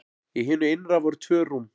Í hinu innra voru tvö rúm.